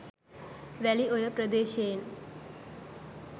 Welioya ප්‍රදේශයෙන්